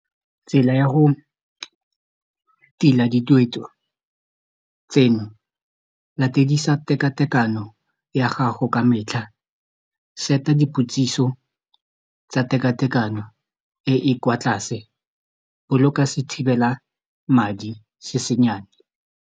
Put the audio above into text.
Tsela ya go tila dituetso tseno latedisa tekatekano ya gago ka metlha set-a dipotsiso tsa tekatekano e e kwa tlase boloka sethibela madi se se nnyane.